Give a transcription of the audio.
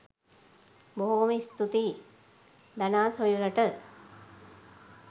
බොහොම ස්තූතියි දනා සොයුරට